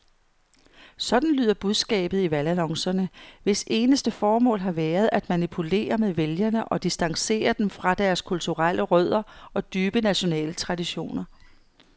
Sådan lyder budskabet i valgannoncerne, hvis eneste formål har været at manipulere med vælgere og distancere dem fra deres kulturelle rødder og dybe nationale traditioner.